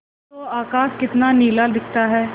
देखो तो आकाश कितना नीला दिखता है